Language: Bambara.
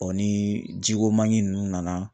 ni ji ko manki ninnu nana